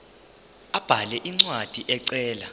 abhale incwadi ecela